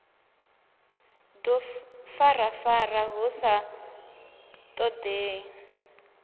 ḽu farafara hu sa ṱoḓei